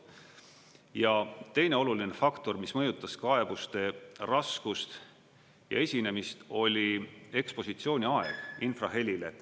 Ja teine oluline faktor, mis mõjutas kaebuste raskust ja esinemist, oli ekspositsiooni aeg infrahelile.